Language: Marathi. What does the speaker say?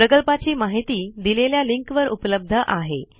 प्रकल्पाची माहिती दिलेल्या लिंक वर उपलब्ध आहे